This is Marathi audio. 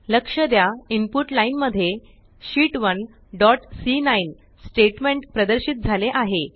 लक्ष द्या इनपुट लाईन मध्ये शीत 1 डॉट सी9 स्टेट्मेंट प्रदर्शित झाले आहे